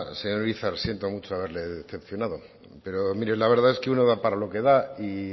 señor urizar siento mucho haberle decepcionado pero mire la verdad es que uno da para lo que da y